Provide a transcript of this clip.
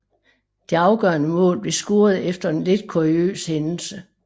Det afgørende mål blev scoret efter en lidt kuriøs hændelse